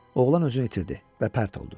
Oğlan özünü itirdi və pərt oldu.